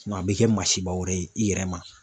a bɛ kɛ masiba wɛrɛ ye i yɛrɛ ma.